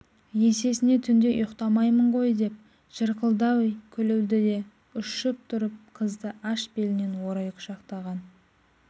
есесіне түнде ұйықтамаймын ғой деп жырқылдай күлді де ұшып тұрып қызды аш белінен орай құшақтаған